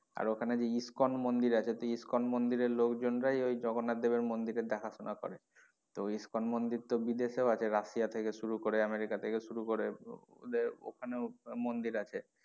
আর ওখানে যে ইস্কন মন্দির আছে তো ওই ইস্কনের লোকজন রাই জগন্নাথ দেবের মন্দিরের দেখা শোনা করে। তো ইস্কন মন্দির তো বিদেশেও আছে রাশিয়া থেকে শুরু করে আমেরিকা থেকে শুরু করে ওদের ওখানে মন্দির আছে।